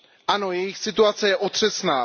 Ano, jejich situace je otřesná.